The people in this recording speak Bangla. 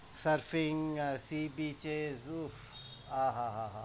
surfing, sea beach, zoo আ, হা, হা।